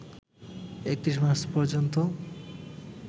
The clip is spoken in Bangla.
৩১ মার্চ পর্যন্ত